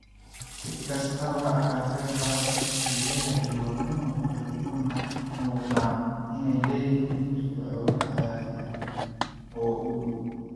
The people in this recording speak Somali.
Si kastaba ha ahaatee, qaabkan, kelyaha iyo wadnuhu waxay u muuqdaan inay leeyihiin firfircooni caadi ah oo u dhow.